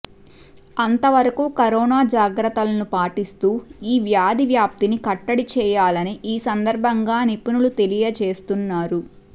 అంత వరకు కరోనా జాగ్రత్తలను పాటిస్తూ ఈ వ్యాధి వ్యాప్తిని కట్టడి చేయాలని ఈ సందర్భంగా నిపుణులు తెలియజేస్తున్నారు